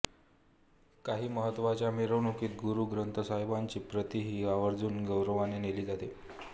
काही महत्त्वाच्या मिरवणुकीत गुरु ग्रंथ साहिबाची प्रतही आवर्जून गौरवाने नेली जाते